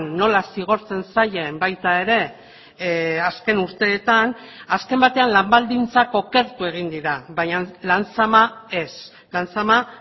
nola zigortzen zaien baita ere azken urteetan azken batean lan baldintzak okertu egin dira baina lan zama ez lan zama